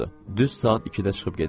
Düz saat ikidə çıxıb gedirdi.